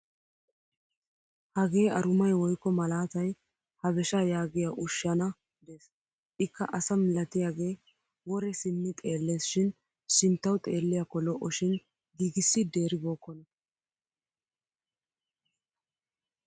Hagee arumay woykko malaatay habeshaa yaagiya ushshana des. Ikka asa malatiyagee wore simmi xeelles shin sinttawu xeelliyaakko lo'o shin giigissiddi eribookkona.